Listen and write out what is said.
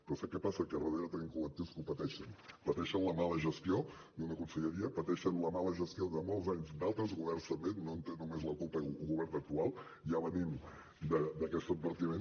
però sap què passa que a darrere tenim col·lectius que ho pateixen pateixen la mala gestió d’una conselleria pateixen la mala gestió de molts anys d’altres governs també no en té només la culpa el govern actual ja venim d’aquest advertiment